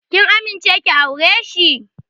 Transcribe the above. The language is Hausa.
Ki amince ki aure shi!